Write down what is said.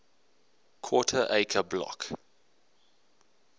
quarter acre block